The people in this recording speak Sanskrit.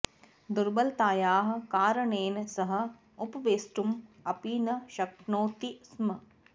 दुर्बलतायाः कारणेन सः उपवेष्टुम् अपि न शक्नोति स्म